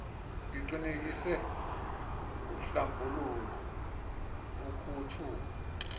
iqinisekise uhlambuluko ukuntshula